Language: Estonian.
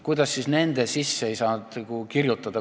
Kuidas ei saanud seda sinna sisse kirjutada?